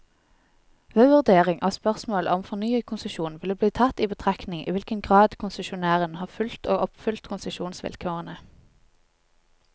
Ved vurdering av spørsmålet om fornyet konsesjon vil det bli tatt i betraktning i hvilken grad konsesjonæren har fulgt og oppfylt konsesjonsvilkårene.